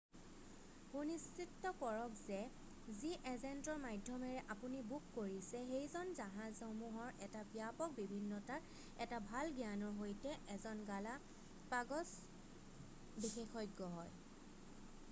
সুনিশ্চিত কৰক যে যি এজেন্টৰ মাধ্যমেৰে আপুনি বুক কৰিছে সেইজন জাহাজসমূহৰ এটা ব্যাপক বিভিন্নতাৰ এটা ভাল জ্ঞানৰ সৈতে এজন গালাপাগ'ছ বিশেষজ্ঞ হয়৷